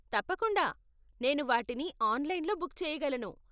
తప్పకుండా, నేను వాటిని ఆన్లైన్లో బుక్ చెయ్యగలను.